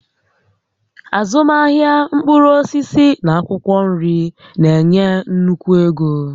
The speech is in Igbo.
Azụmahịa mkpụrụ osisi na akwụkwọ nri na-enye nnukwu ego